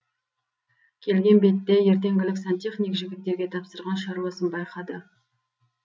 келген бетте ертеңгілік сантехник жігіттерге тапсырған шаруасын байқады